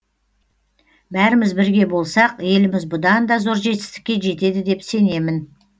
бәріміз бірге болсақ еліміз бұдан да зор жетісікке жетеді деп сенемін